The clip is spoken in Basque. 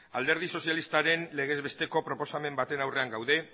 alderdi sozialistaren legez besteko proposamen baten aurrean gaude